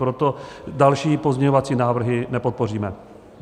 Proto další pozměňovací návrhy nepodpoříme.